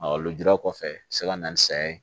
lujura kɔfɛ a bɛ se ka na ni saya ye